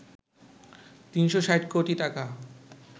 ৩৬০ কোটি টাকা